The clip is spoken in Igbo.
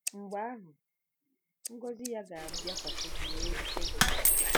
Mgbe ahụ, ngọzi ya “ga-abịakwasị gị wee rute gị.”